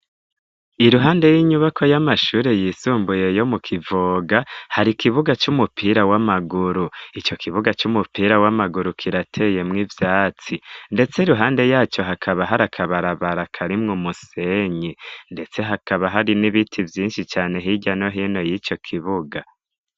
Iruhande y'inyubako y'amashuri yisumbuye yo mu kivoga hari kibuga c'umupira w'amaguru ico kibuga c'umupira w'amaguru kirateyemwo ivyatsi ndetse iruhande yaco hakaba hari akabarabara karimwo umusenyi ndetse hakaba hari n'ibiti vyishi cane hirya no hino yico kibuga.